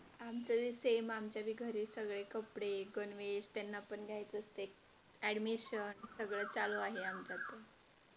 आमचंही सेम आमच्या घरी सगळे कपडे गणवेश त्यांना पण घ्यायचं असते addmision सगळे चालू आहे आमच्या घरी,